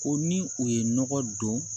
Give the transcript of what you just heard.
Ko ni u ye nɔgɔ don